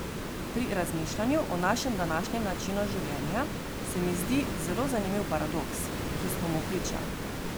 Pri razmišljanju o našem današnjem načinu življenja se mi zdi zelo zanimiv paradoks, ki smo mu priča.